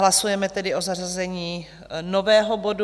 Hlasujeme tedy o zařazení nového bodu...